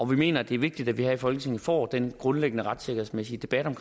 mener det er vigtigt at vi her i folketinget får den grundlæggende retssikkerhedsmæssige debat om